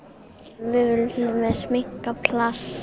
við viljum minnka plastnotkun